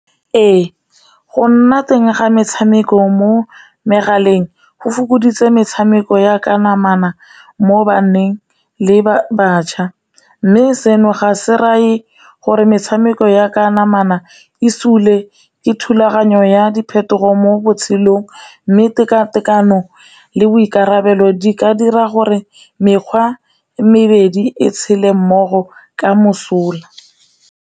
Ee, go nna teng ga metshameko mo megaleng, go fokoditse metshameko ya ka namana mo banneng le batjha. Mme seno ga se reye gore metshameko ya ka namana e sule ke thulaganyo ya diphetogo mo botshelong mme tekatekano le boikarabelo di ka dira gore mekgwa e mebedi e tshele mmogo ka mosola.